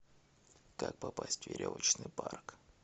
как попасть в веревочный парк